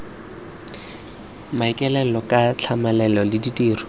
maikaelelo ka tlhamalalo le ditiro